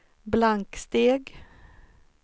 blanksteg